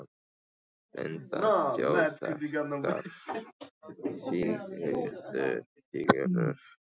Linda: Þjóðþekktar fígúrur?